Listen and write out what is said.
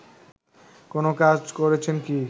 কোনো কাজ করেছেন কি